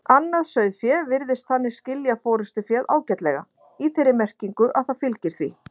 Annað sauðfé virðist þannig skilja forystuféð ágætlega, í þeirri merkingu að það fylgir því.